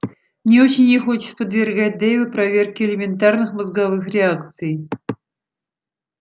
мне очень не хочется подвергать дейва проверке элементарных мозговых реакций